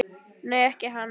Nei, ekki hann ég.